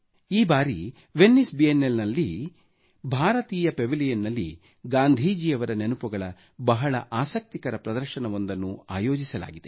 ಈ ಬಾರಿ Venice Biennale ನಲ್ಲಿ ಭಾರತೀಯ ಪೆವಿಲಿಯನ್ ನಲ್ಲಿ ಗಾಂಧೀಜಿಯವರ ನೆನಪುಗಳ ಬಹಳ ಆಸಕ್ತಿಕರ ಪ್ರದರ್ಶನವೊಂದನ್ನು ಆಯೋಜಿಸಲಾಗಿದೆ